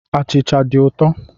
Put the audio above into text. Achịcha dị ụtọ.